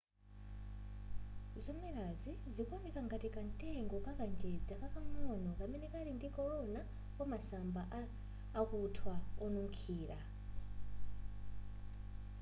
zomelazi zikuoneka ngati kamtengo ka kanjedza kakang'ono kamene kali ndi korona wa masamba akuthwa onunkhira